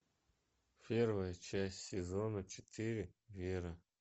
первая часть сезона четыре вера